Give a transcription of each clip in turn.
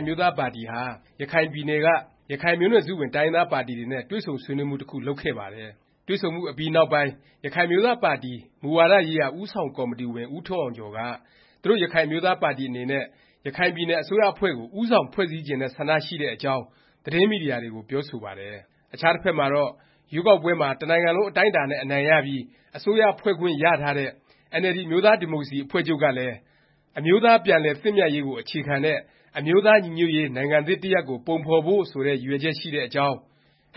်အမျိုးသားပါတီဟာ ရခိုင်ပြည်နယ်က ရခိုင်မျိုးနွယ်စုဝင် တိုင်းရင်းသားပါတီတွေနဲ့ တွေ့ဆုံဆွေးနွေးမှု တခု လုပ်ခဲ့ပါတယ်။ တွေ့ဆုံမှုအပြီးနောက်ပိုင်း ရခိုင်အမျိုးသားပါတီ မူဝါဒရေးရာ ဦးဆောင်ကော်မတီဝင် ဦးထွန်းအောင်ကျော်က သူတို့ရခိုင်အမျိုးသားပါတီ အနေနဲ့ ရခိုင်ပြည်နယ် အစိုးရအဖွဲ့ကို ဦးဆောင် ဖွဲ့စည်းချင်တဲ့ ဆန္ဒရှိတဲ့အကြောင်း သတင်းမီဒီယာတွေကို ပြောဆိုပါတယ်။ အခြားတဖက်မှာတော့ ရွေးကောက်ပွဲမှာ တနိုင်ငံလုံး အတိုင်းအတာနဲ့ အနိုင်ရပြီး အစိုးရဖွဲ့ခွင့်ရထားတဲ့ NLD အမျိုးသားဒီမိုကရေစီ အဖွဲ့ချုပ်ကလည်း “အမျိုးသားပြန်လည်သင့်မြတ်ရေးကို အခြေခံတဲ့ အမျိုးသားညီညွတ်ရေး နိုင်ငံသစ်တရပ်ကို ပုံဖော်ဖို့” ဆိုတဲ့ ရည်ရွယ်ချက် ရှိတဲ့အကြောင်း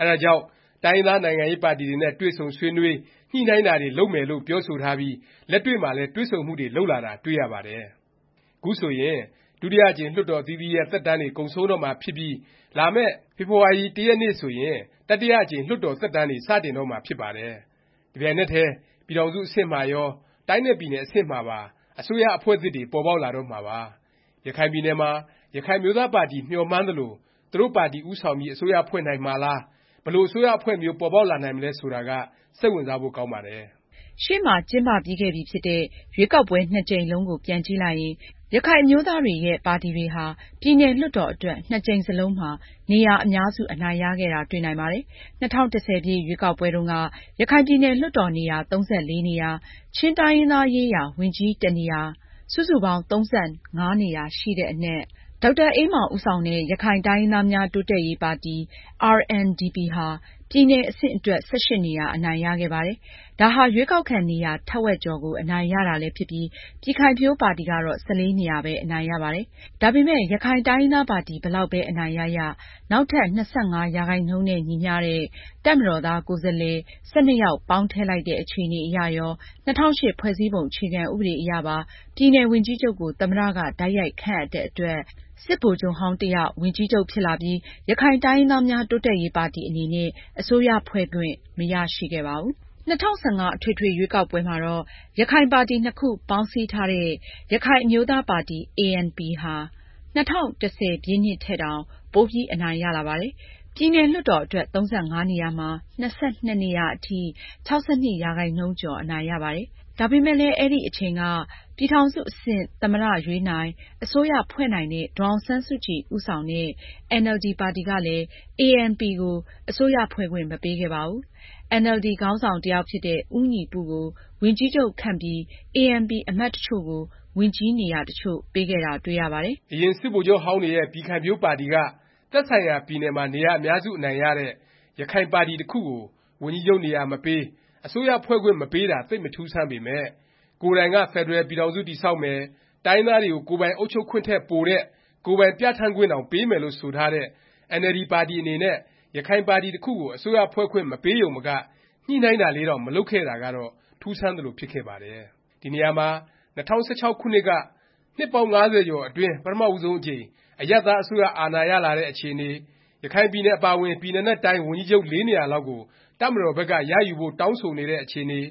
၊ အဲဒါကြောင့် တိုင်းရင်းသား နိုင်ငံရေးပါတီတွေနဲ့ တွေ့ဆုံဆွေးနွေး၊ ညှိနှိုင်းတာတွေ လုပ်မယ်လို့ ပြောဆိုထားပြီး လက်တွေ့မှာလည်း တွေ့ဆုံမှုတွေ လုပ်လာတာ တွေ့ရပါတယ်။ ခုဆိုရင် ဒုတိယအကြိမ် လွှတ်တော် အသီးသီးရဲ့ သက်တမ်းတွေ ကုန်ဆုံးတော့မှာဖြစ်ပြီး လာမယ့် ဖေဖေါ်ဝါရီ ၁ ရက် ဆိုရင် တတိယအကြိမ် လွှတ်တော် သက်တမ်းတွေ စတင်တော့မှာ ဖြစ်ပါတယ်။ တပြိုင်နက်တည်း ပြည်ထောင်စု အဆင့်မှာရော၊ တိုင်းနဲ့ ပြည်နယ် အဆင့်မှာပါ အစိုးရအဖွဲ့သစ်တွေ ပေါ်ပေါက်လာတော့မှာပါ၊ ရခိုင်ပြည်နယ်မှာ ရခိုင်အမျိုးသားပါတီ မျှော်မှန်းသလို သူတို့ပါတီ ဦးဆောင်ပြီး အစိုးရဖွဲ့နိုင်မှာလား၊ ဘယ်လို အစိုးရအဖွဲ့မျိုး ပေါ်ပေါက်လာနိုင်မလဲ ဆိုတာက စိတ်ဝင်စားဖို့ ကောင်းပါတယ်။ ရှေ့မှာ ကျင်းပပြီးခဲ့ပြီဖြစ်တဲ့ ရွေးကောက်ပွဲ နှစ်ကြိမ်လုံးကို ပြန်ကြည့်လိုက်ရင် ရခိုင်အမျိုးသားတွေရဲ့ ပါတီတွေဟာ ပြည်နယ် လွှတ်တော် အတွက် နှစ်ကြိမ်စလုံးမှာ နေရာ အများစု အနိုင်ရခဲ့တာ တွေ့နိုင်ပါတယ်။ ၂၀၁၀ ရွေးကောက်ပွဲတုန်းက ရခိုင်ပြည်နယ် လွှတ်တော် နေရာ ၃၄ နေရာ၊ ချင်းတိုင်းရင်းသားရေးရာ ဝန်ကြီး တနေရာ စုစုပေါင်း ၃၅ နေရာ ရှိတဲ့အနက် ဒေါက်တာအေးမောင် ဦးဆောင်တဲ့ ရခိုင်တိုင်းရင်းသားများ တိုးတက်ရေးပါတီ RNDP ဟာ ပြည်နယ် အဆင့်အတွက် ၁၈ နေရာ အနိုင်ရခဲ့ပါတယ်။ ဒါဟာ ရွေးကောက်ခံ နေရာ ထက်ဝက်ကျော်ကို အနိုင်ရတာလည်းဖြစ်ပြီး ပြည်ခိုင်ဖြိုးပါတီကတော့ ၁၄ နေရာပဲ အနိုင်ရပါတယ်။ ဒါပေမယ့် ရခိုင်တိုင်းရင်းသားပါတီ ဘယ်လောက်ပဲ အနိုင်ရရ၊ နောက်ထပ် ၂၅% နဲ့ ညီမျှတဲ့ တပ်မတော်သား ကိုယ်စားလှယ် ၁၂ ယောက် ပေါင်းထည့်လိုက်တဲ့ အခြေအနေအရရော၊ ၂၀၀၈ ဖွဲ့စည်းပုံ အခြေခံ ဥပဒေအရပါ ပြည်နယ် ဝန်ကြီးချုပ်ကို သမ္မတ က တိုက်ရိုက်ခန့်အပ်တဲ့အတွက် စစ်ဗိုလ်ချုပ်ဟောင်း တယောက် ဝန်ကြီးချုပ် ဖြစ်လာပြီး ရခိုင်တိုင်းရင်းသားများ တိုးတက်ရေးပါတီ အနေနဲ့ အစိုးရဖွဲ့ခွင့် မရရှိခဲ့ပါဘူး။ ၂၀၁၅ အထွေထွေ ရွေးကောက်ပွဲမှာတော့ ရခိုင်ပါတီနှစ်ခု ပေါင်းစည်းထားတဲ့ ရခိုင်အမျိုးသားပါတီ ANP ဟာ ၂၀၁၀ ထက်တောင် ပိုပြီး အနိုင်ရလာပါတယ်။ ပြည်နယ် လွှတ်တော် အတွက် ၃၅ နေရာမှာ ၂၂ နေရာအထိ ၆၂% ကျော် အနိုင်ရပါတယ်။ ဒါပေမယ့်လည်း အဲဒီအချိန်က ပြည်ထောင်စု အဆင့် သမ္မတ ရွေးနိုင်၊ အစိုးရဖွဲ့နိုင်တဲ့ ဒေါ်အောင်ဆန်းစုကြည် ဦးဆောင်တဲ့ NLD ပါတီကလည်း ANP ကို အစိုးရဖွဲ့ခွင့် မပေးခဲ့ပါဘူး။ NLD ခေါင်းဆောင် တယောက်ဖြစ်တဲ့ ဦးညီပု ကို ဝန်ကြီးချုပ်ခန့်ပြီး ANP အမတ်တချို့ကို ဝန်ကြီးနေရာ တချို့ပေးခဲ့တာ တွေ့ရပါတယ်။ အရင် စစ်ဗိုလ်ချုပ်ဟောင်းတွေရဲ့ ပြည်ခိုင်ဖြိုးပါတီက သက်ဆိုင်ရာ ပြည်နယ်မှာ နေရာ အများစု အနိုင်ရတဲ့ ရခိုင်ပါတီတခုကို ဝန်ကြီးချုပ်နေရာမပေး၊ အစိုးရဖွဲ့ခွင့် မပေးတာ သိပ်မထူးဆန်းပေမယ့် ကိုယ်တိုင်က ဖက်ဒရယ်ပြည်ထောင်စု တည်ဆောက်မယ်၊ တိုင်းရင်းသားတွေကို ကိုယ်ပိုင် အုပ်ချုပ်ခွင့်ထက် ပိုတဲ့ ကိုယ်ပိုင်ပြဌာန်းခွင့်တောင် ပေးမယ်လို့ ဆိုထားတဲ့ NLD ပါတီ အနေနဲ့ ရခိုင်ပါတီတခုကို အစိုးရဖွဲ့ခွင့် မပေးရုံမက ညှိနှိုင်းတာလေးတောင် မလုပ်ခဲ့တာကတော့ ထူးဆန်းသလို ဖြစ်ခဲ့ပါတယ်။ ဒီနေရာမှာ ၂၀၁၆ ခုနှစ်က နှစ်ပေါင်း ၅၀ ကျော်အတွင်း ပထမဦးဆုံးအကြိမ် အရပ်သား အစိုးရ အာဏာရလာတဲ့ အခြေအနေ၊ ရခိုင်ပြည်နယ် အပါအဝင် ပြည်နယ်နဲ့ တိုင်း ဝန်ကြီးချုပ် ၄ နေရာလောက်ကို တပ်မတော်ဘက်က ရယူဖို့ တောင်းဆိုနေတဲ့ အခြေအနေ၊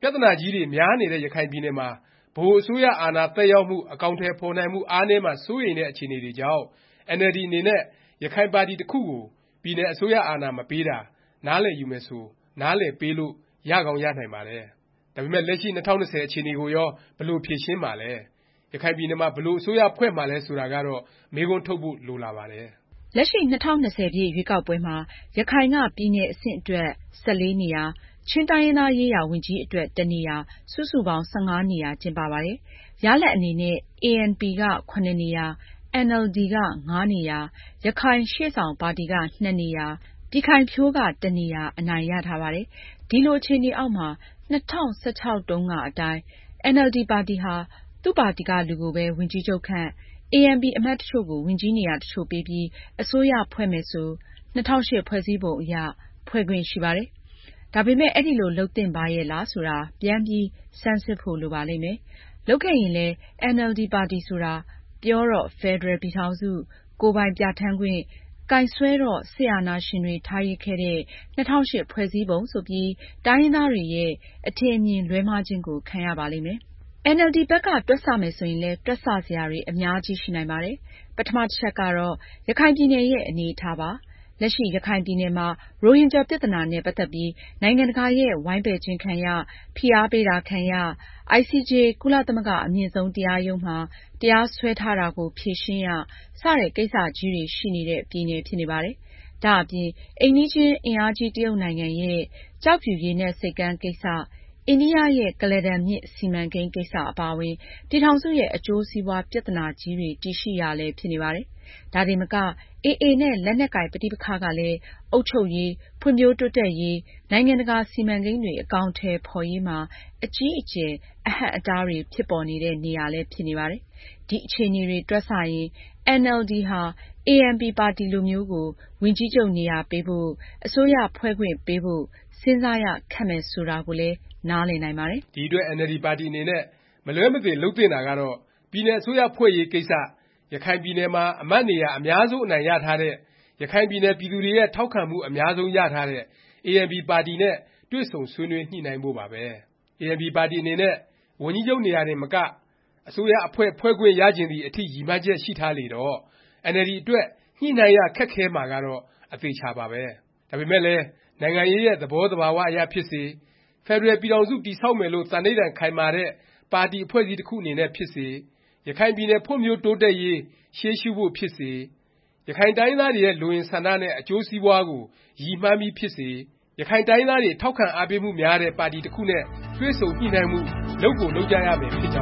ပြသနာကြီးတွေ များတဲ့ ရခိုင်ပြည်နယ်မှာ ဗဟိုအစိုးရ အာဏာသက်ရောက်မှု၊ အကောင်အထည် ဖော်နိုင်မှု အားနည်းမှာ စိုးရိမ်တဲ့ အခြေအနေတွေကြောင့် အင်န်အယ်လ်ဒီ အနေနဲ့ ရခိုင်ပါတီတစ်ခုကို ပြည်နယ် အစိုးရ အာဏာ မပေးတာ နားလည်ယူမယ်ဆို နားလည်ပေးလို့ ရကောင်း ရနိုင်ပါတယ်။ ဒါပေမယ့် လက်ရှိ ၂၀၂၀ အခြေအနေကိုရော ဘယ်လို ဖြေရှင်းမှာလဲ၊ ရခိုင်ပြည်နယ်မှာ ဘယ်လို အစိုးရဖွဲ့မှာလည်း ဆိုတာကတော့ မေးခွန်းထုတ်ဖို့ လိုလာပါတယ်။ လက်ရှိ ၂၀၂၀ ရွေးကောက်ပွဲမှာ ရခိုင်က ပြည်နယ် အဆင့်အတွက် ၁၄ နေရာ၊ ချင်းတိုင်းရင်းသားရေးရာ ဝန်ကြီးအတွက် တနေရာ စုစုပေါင်း ၁၅ နေရာ ကျင်းပပါတယ်။ ရလာဒ်အနေနဲ့ ANP က (၇) နေရာ၊ NLD က (၅) နေရာ၊ ရခိုင်ရှေ့ဆောင်ပါတီက (၂) နေရာ၊ ပြည်ခိုင်ဖြိုးက တနေရာ အနိုင်ရထားပါတယ်။ ဒီလို အခြေအနေအောက်မှာ ၂၀၁၆ တုန်းကအတိုင်း NLD ပါတီဟာ သူ့ပါတီက လူကိုပဲ ဝန်ကြီးချုပ်ခန့်၊ ANP အမတ်တချို့ကို ဝန်ကြီးနေရာ တချို့ပေးပြီးအစိုးရဖွဲ့မယ်ဆို ၂၀၀၈ ဖွဲ့စည်းပုံ အရ ဖွဲ့ခွင့် ရှိပါတယ်။ ဒါပေမယ့် အဲဒီလို လုပ်သင့်ပါရဲ့လား ဆိုတာ ပြန်ပြီး ဆန်းစစ်ဖို့ လိုပါလိမ့်မယ်။ လုပ်ခဲ့ရင်လည်း NLD ပါတီဆိုတာ ပြောတော့ ဖက်ဒရယ် ပြည်ထောင်စု၊ ကိုယ်ပိုင်ပြဌာန်းခွင့်၊ ကိုင်စွဲတော့ စစ်အာဏာရှင်တွေ ထားရစ်ခဲ့တဲ့ ၂၀၀၈ ဖွဲ့စည်းပုံ ဆိုပြီး တိုင်းရင်းသားတွေရဲ့ အထင်အမြင် လွဲမှားခြင်းကို ခံရပါလိမ့်မယ်။ NLD ဘက်က တွက်ဆမယ် ဆိုရင်လည်း တွက်ဆ စရာတွေ အများကြီး ရှိနိုင်ပါတယ်။ ပထမ တချက်ကတော့ ရခိုင်ပြည်နယ်ရဲ့ အနေအထားပါ၊ လက်ရှိ ရခိုင်ပြည်နယ်မှာ ရိုဟင်ဂျာ ပြသနာနဲ့ ပတ်သက်ပြီး နိုင်ငံတကာရဲ့ ဝိုင်းပယ်ခြင်းခံရ၊ ဖိအားပေးတာ ခံရ၊ ICJ ကုလသမဂ္ဂအမြင့်ဆုံးတရားရုံးမှာ တရားစွဲထားတာကို ဖြေရှင်းရ စတဲ့ ကိစ္စကြီးတွေ ရှိနေတဲ့ ပြည်နယ် ဖြစ်နေပါတယ်။ ဒါ့အပြင် အိမ်နီးချင်း အင်အားကြီး တရုတ်နိုင်ငံရဲ့ ကျောက်ဖြူရေနက်ဆိပ်ကမ်း ကိစ္စ၊ အိန္ဒိယ ရဲ့ ကုလားတန်မြစ် စီမံကိန်း ကိစ္စ အပါအဝင် ပြည်ထောင်စုရဲ့ အကျိုးစီးပွား ပြသနာကြီးတွေ တည်ရှိရာလည်း ဖြစ်နေပါတယ်။ ဒါတင်မက AA နဲ့ လက်နက်ကိုင် ပဋိပက္ခကလည်း အုပ်ချုပ်ရေး၊ ဖွံ့ဖြိုးတိုးတက်ရေး၊ နိုင်ငံတကာ စီမံကိန်းတွေ အကောင်အထည် ဖော်ရေးမှာ အကြီးအကျယ် အဟန့်အတားတွေ ဖြစ်ပေါ်နေတဲ့ နေရာလည်း ဖြစ်နေပါတယ်။ ဒီ အခြေအနေတွေ တွက်ဆရင် NLD ဟာ ANP ပါတီလိုမျိုးကို ဝန်ကြီးချုပ်နေရာပေးဖို့၊ အစိုးရဖွဲ့ခွင့် ပေးဖို့ စဉ်းစားရခက်မယ် ဆိုတာကိုလည်း နားလည်နိုင်ပါတယ်။ ဒီအတွက် NLD ပါတီအနေနဲ့ မလွဲမသွေ လုပ်သင့်တာကတော့ ပြည်နယ် အစိုးရဖွဲ့ရေးကိစ္စ ရခိုင်ပြည်နယ်မှာ အမတ်နေရာ အများဆုံး အနိုင်ရထားတဲ့၊ ရခိုင်ပြည်နယ် ပြည်သူတွေရဲ့ ထောက်ခံမှု အများဆုံး ရထားတဲ့ ANP ပါတီနဲ့ တွေ့ဆုံညှိနှိုင်းဖို့ပါပဲ။ ANP ပါတီအနေနဲ့ ဝန်ကြီးချုပ်နေရာတင်မက အစိုးရအဖွဲ့ ဖွဲ့ခွင့်ရချင်သည် အထိ ရည်မှန်းချက်ရှိထားလေတော့ အင်န်အယ်လ်ဒီ အတွက် ညှိနှိုင်းရ ခက်ခဲမှာကတော့ အသေအခြာပါပဲ။ ဒါပေမယ့်လည်း နိုင်ငံရေးရဲ့ သဘောသဘာ၀ အရဖြစ်စေ၊ ဖက်ဒရယ် ပြည်ထောင်စု တည်ဆောက်မယ်လို့ သန္ဒိဌာန် ခိုင်မာတဲ့ ပါတီ အဖွဲ့အစည်းတစ်ခု အနေနဲ့ ဖြစ်စေ၊ ရခိုင်ပြည်နယ် ဖွံ့ဖြိုးတိုးတက်ရေး ရှေးရှုဖို့ ဖြစ်စေ၊ ရခိုင်တိုင်းရင်းသားတွေရဲ့ လိုအင်ဆန္ဒနဲ့ အကျိုးစီးပွားကို ရည်မှန်းပြီးဖြစ်စေ ရခိုင်တိုင်းရင်းသားတွေ ထောက်ခံအားပေးမှုများတဲ့ ပါတီ တစ်ခုနဲ့ တွေ့ဆုံ ညှိနှိုင်းမှု လုပ်ကို လုပ်ကြရမယ် ဖြစ်ကြောင်း